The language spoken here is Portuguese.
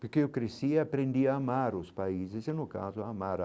Porque eu cresci, e aprendi a amar os países, e no caso amar a.